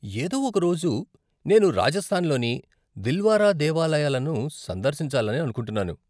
ఏదో ఒక రోజు నేను రాజస్థాన్ లోని దిల్వారా దేవాలయాలను సందర్శించాలని అనుకుంటున్నాను.